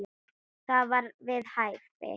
Það var við hæfi.